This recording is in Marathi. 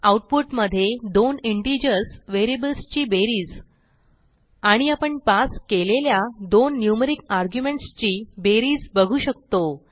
आऊटपुटमधे दोन इंटिजर्स व्हेरिएबल्सची बेरीज आणि आपण पास केलेल्या दोन न्यूमेरिक आर्ग्युमेंट्स ची बेरीज बघू शकतो